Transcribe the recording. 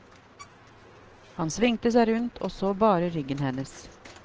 Han svingte seg rundt og så bare ryggen hennes.